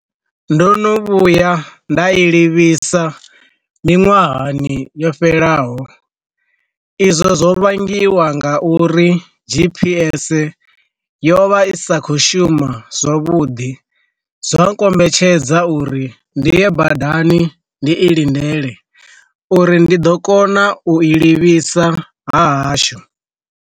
Ndo no vhuya nda i livhisa miṅwahani yo fhelelaho, izwo zwo vhangiwa nga uri GPS yo vha i sa kho shuma zwavhuḓi zwa kombetshedza uri ndi ye badani ndi i lindele uri ndi ḓo kona u i livhisa ha hashu.